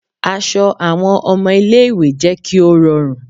Aṣọ àwọn ọmọ ilé ìwé jẹ́ kí ó rọrùn